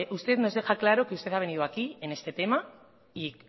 usted nos deja claro que usted ha venido aquí en este tema y